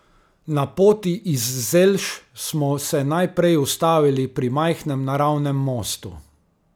Na poti iz Zelš smo se najprej ustavili pri majhnem naravnem mostu.